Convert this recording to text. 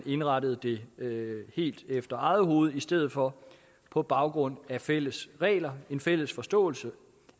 indrettede det helt efter eget hoved i stedet for på baggrund af fælles regler en fælles forståelse